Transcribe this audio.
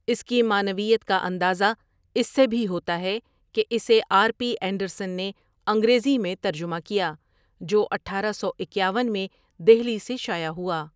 اس کی معنویت کا اندازہ اس سے بھی ہوتا ہے کہ اسے آر پی انڈرسن نے انگریزی میں ترجمہ کیا، جو اٹھارہ سو اکیاون میں دہلی سے شایع ہوا۔